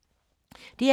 DR K